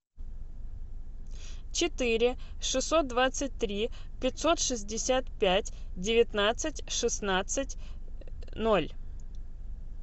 четыре шестьсот двадцать три пятьсот шестьдесят пять девятнадцать шестнадцать ноль